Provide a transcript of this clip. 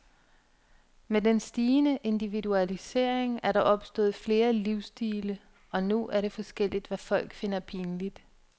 Med den stigende individualisering er der opstået flere livsstile, og nu er det forskelligt, hvad folk finder pinligt.